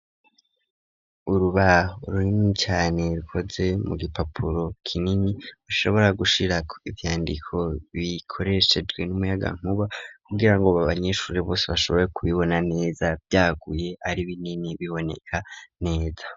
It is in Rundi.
Urubaho rurimi cane rukoze mu gipapuro kinini bashobora gushira ibyandiko bikoreshejwe n'umuyaga nkuba kugira ngo b abanyeshuri bose bashobore kubibona neza byaguye ari binini biboneka neza.